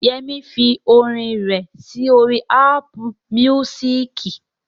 Yẹmí fi orin rẹ̀ sí orí Ápù míúsìkì